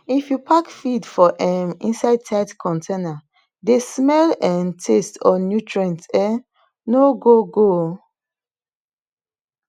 if you pack feed for um inside tight container de smell um taste or nutrients um no go go